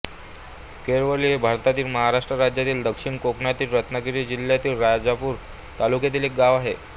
केळवली हे भारतातील महाराष्ट्र राज्यातील दक्षिण कोकणातील रत्नागिरी जिल्ह्यातील राजापूर तालुक्यातील एक गाव आहे